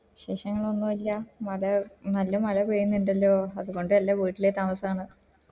വിശേഷങ്ങൾ ഒന്ന് ഇല്ല നട നല്ല മഴ പെയ്യുന്നുണ്ടല്ലോ അത് കൊണ്ടല്ലേ വീട്ടില് താമസാണ്‌